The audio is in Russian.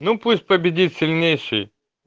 ну пусть победит сильнейший